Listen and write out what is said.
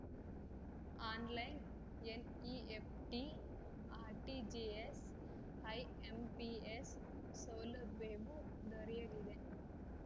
online NEFT RTGS IMPS ಸೌಲಭ್ಯವೂ ದೊರೆಯಲಿದೆ